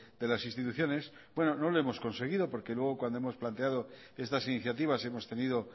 de las instituciones bueno no lo hemos conseguido porque luego cuando hemos planteado estas iniciativas hemos tenido